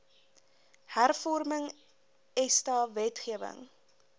hervorming esta wetgewing